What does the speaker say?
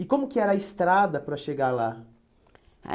E como que era a estrada para chegar lá? A